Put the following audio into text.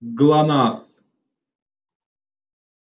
глонассс